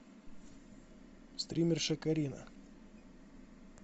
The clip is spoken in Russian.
стримерша карина